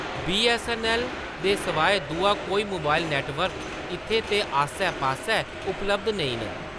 BSNL दे स्वाय दूआ कोई मोबाइल नेटवर्क इत्थै ते आस्सै-पास्सै उपलब्ध नेईं न।